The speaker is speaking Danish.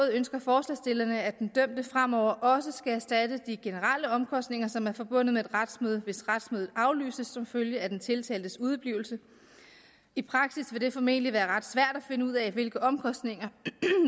ønsker forslagsstillerne at den dømte fremover også skal erstatte de generelle omkostninger som er forbundet med et retsmøde hvis retsmødet aflyses som følge af den tiltaltes udeblivelse i praksis vil det formentlig være ret svært at finde ud af hvilke omkostninger